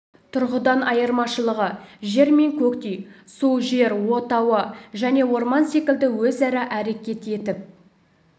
тұрғыдан айырмашылығы жер мен көктей су жер от ауа және орман секілді өзара әрекет етіп